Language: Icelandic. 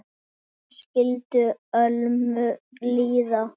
Hvernig skyldi Ölmu líða?